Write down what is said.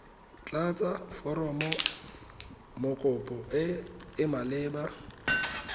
tlatsa foromokopo e e maleba